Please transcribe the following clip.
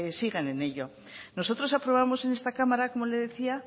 sigan en ello nosotros aprobamos en esta cámara como le decía